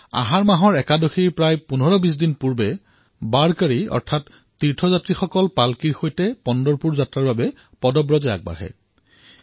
আহাৰ একাদশীৰ প্ৰায় ১৫২০ দিন পূৰ্বৰে পৰা ৱাৰকৰী অৰ্থাৎ তীৰ্থযাত্ৰীসকলে পাল্কিৰ সৈতে পণ্টৰপুৰৰ যাত্ৰাৰ বাবে খোজকাঢ়ি যাত্ৰা কৰে